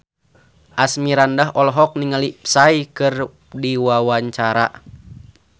Asmirandah olohok ningali Psy keur diwawancara